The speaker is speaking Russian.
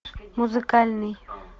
музыкальный